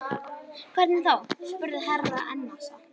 Hvernig þá spurði Herra Enzana.